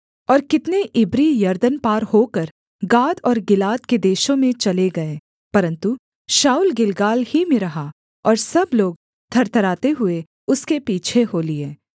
और कितने इब्री यरदन पार होकर गाद और गिलाद के देशों में चले गए परन्तु शाऊल गिलगाल ही में रहा और सब लोग थरथराते हुए उसके पीछे हो लिए